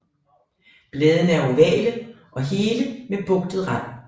Bladene er ovale og hele med bugtet rand